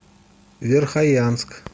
верхоянск